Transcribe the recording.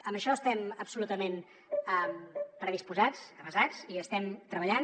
en això estem absolutament predisposats avesats hi estem treballant